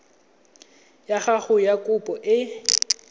ya gago ya kopo e